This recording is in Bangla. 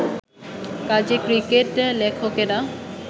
কাজেই ক্রিকেট-লেখকেরা